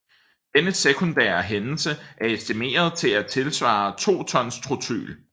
Denne sekundære hændelse er estimeret til at tilsvare to ton Trotyl